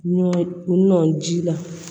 Ɲɔ nɔn ji la